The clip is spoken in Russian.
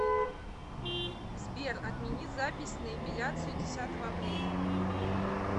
сбер отмени запись на эпиляцию десятого апреля